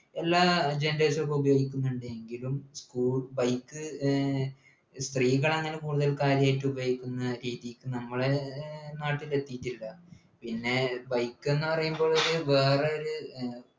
എല്ലാ generations എല്ലം ഉപയോഗിക്കുന്നുണ്ട് എങ്കിലു സ്കൂ bike ഏർ സ്ത്രീകൾ അങ്ങനെ കൂടുതൽ കാര്യായിട്ട് ഉപയോഗിക്കുന്ന ഈ ഈ നമ്മളേ നാട്ടിലെത്തിയിട്ടില്ല പിന്നെ bike എന്ന് പറയുമ്പോ ഒരു വേറൊരു